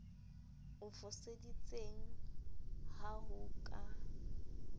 o foseditseng ha ho ka